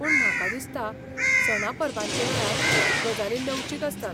पूण म्हाका दिसता सणा परबांचे वेळार, गजाली लवचीक आसतात.